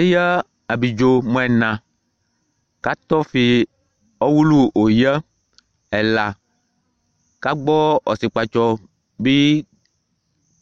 Eƴǝ abliɖzo mʋ ɛna, kʋ atɔfɩ ɔwʋlʋ ɛla K'agbɔ ɔsɩƙpatsɔ bɩ